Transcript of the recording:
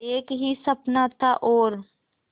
एक ही सपना था और